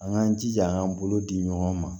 An k'an jija k'an bolo di ɲɔgɔn ma